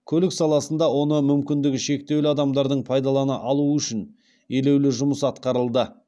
көлік саласында оны мүмкіндігі шектеулі адамдардың пайдалана алуы үшін елеулі жұмыс атқарылды